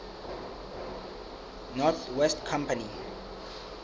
north west company